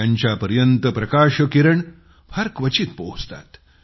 त्यांच्यापर्यंत प्रकाशकिरणे फार क्वचित पोहोचतात